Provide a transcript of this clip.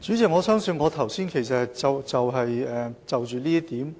主席，我相信我剛才其實已就這一點